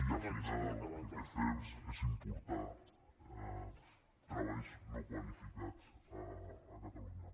i al final el que fem és importar treballs no qualificats a catalunya